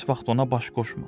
Heç vaxt ona baş qoşma.